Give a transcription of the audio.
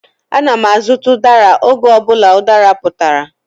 Ana m azụta udara oge ọ bụla udara putara.